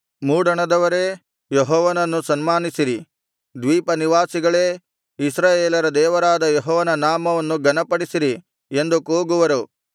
ಮೂಡಣದವರೇ ಯೆಹೋವನನ್ನು ಸನ್ಮಾನಿಸಿರಿ ದ್ವೀಪ ನಿವಾಸಿಗಳೇ ಇಸ್ರಾಯೇಲರ ದೇವರಾದ ಯೆಹೋವನ ನಾಮವನ್ನು ಘನಪಡಿಸಿರಿ ಎಂದು ಕೂಗುವರು